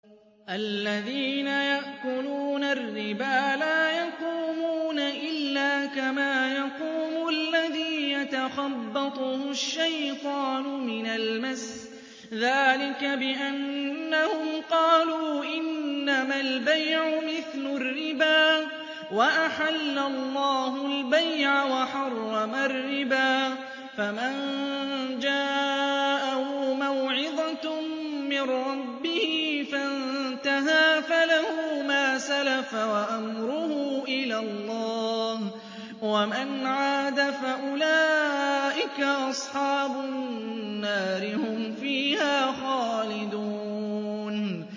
الَّذِينَ يَأْكُلُونَ الرِّبَا لَا يَقُومُونَ إِلَّا كَمَا يَقُومُ الَّذِي يَتَخَبَّطُهُ الشَّيْطَانُ مِنَ الْمَسِّ ۚ ذَٰلِكَ بِأَنَّهُمْ قَالُوا إِنَّمَا الْبَيْعُ مِثْلُ الرِّبَا ۗ وَأَحَلَّ اللَّهُ الْبَيْعَ وَحَرَّمَ الرِّبَا ۚ فَمَن جَاءَهُ مَوْعِظَةٌ مِّن رَّبِّهِ فَانتَهَىٰ فَلَهُ مَا سَلَفَ وَأَمْرُهُ إِلَى اللَّهِ ۖ وَمَنْ عَادَ فَأُولَٰئِكَ أَصْحَابُ النَّارِ ۖ هُمْ فِيهَا خَالِدُونَ